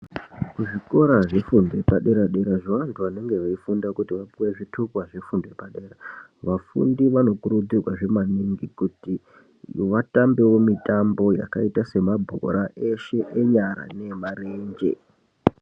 Kuzvikora zvefundo yepadera zvebantu vanenge veide kapuwe zvitupa zvefundo yepadera vafundi vanokurudzirwawo maningi kuti vatambewo mitambo yakaita sebhora eshe enyara neemarenje.